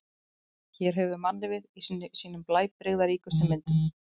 Hér höfum við mannlífið í sínum blæbrigðaríkustu myndum.